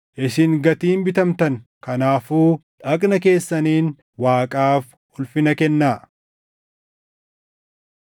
isin gatiin bitamtan; kanaafuu dhagna keessaniin Waaqaaf ulfina kennaa.